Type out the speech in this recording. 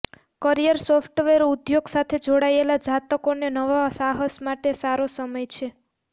career software ઉદ્યોગ સાથે જોડાયેલા જાતકોને નવા સાહસ માટે સારો સમય છે